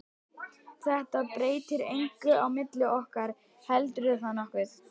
Þetta breytir engu á milli okkar, heldurðu það nokkuð?